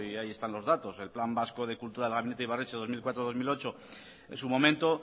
ahí están los datos el plan vasco de cultura del gabinete ibarretxe dos mil cuatro dos mil ocho en su momento